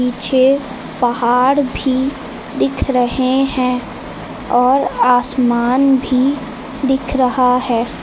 पीछे पहाड़ भी दिख रहे हैं और आसमान भी दिख रहा है।